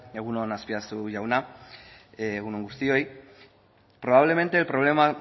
egun on azpiazu jauna egun on guztioi probablemente el problema